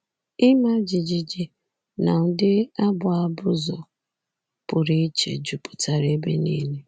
Ịma jijiji na ụdị abụ abụzụ pụrụ iche jupụtara ebe nile.